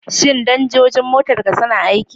Shin danjojin motarka suna aiki?